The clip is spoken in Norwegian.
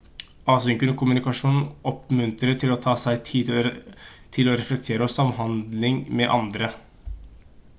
asynkron kommunikasjon oppmuntrer til å ta seg tid til å reflektere og til samhandling med andre